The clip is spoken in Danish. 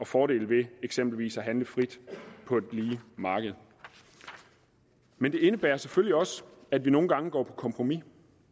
fordele ved eksempelvis at handle frit på et lige marked men det indebærer selvfølgelig også at vi nogle gange går på kompromis